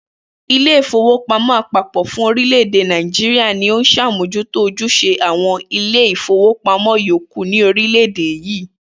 Ilé ìfowópamó̩ àpapò̩ fún orílè̩-èdè Nàìjíríà ni ó ń s̩àmójútó ojús̩e àwo̩n ilé ìfowópamó̩ yòókù ní orílè̩-èdè yìí